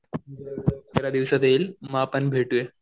दिवसात येईल मग आपण भेटूया.